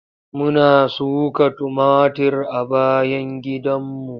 Muna suka tumatir a bayan gidanmu.